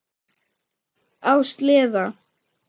Á sleða.